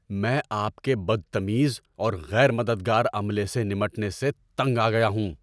میں آپ کے بدتمیز اور غیر مددگار عملے سے نمٹنے سے تنگ آ گیا ہوں۔